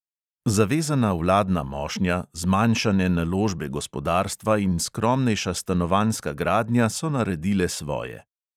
Zavezana vladna mošnja, zmanjšane naložbe gospodarstva in skromnejša stanovanjska gradnja so naredile svoje.